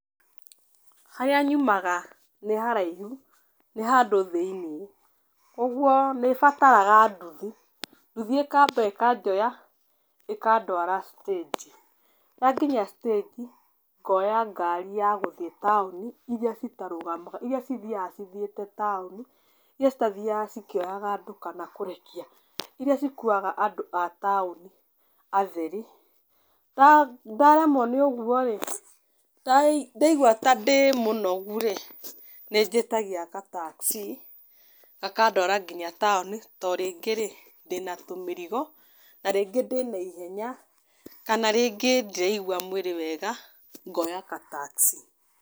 Harĩa nyumaga nĩ haraihu, nĩ handũ thĩiniĩ. Ũguo nĩ bataraga nduthi, nduthi ĩkamba ĩkanjoya, ĩkandwara citĩnji. Yanginyia citĩnji, ngoya ngari ya gũthiĩ taũni irĩa citarũgamaga, irĩa cithiaga cithiĩte taũni. Irĩa citathiaga cikĩoyaga andũ kana kũrĩhia. Irĩa cikuaga andũ a taũni atheri. Ndaremwo nĩ ũguo rĩ, ndaigua ta ndĩ mũnogu rĩ, nĩ njĩtagia ga taxi, gakandwara nginya taũni, to rĩngĩ rĩ, ndĩna tũmĩrigo, na rĩngĩ ndĩna ihenya, kana rĩngĩ ndiraigua mwĩrĩ wega, ngoya ga taxi.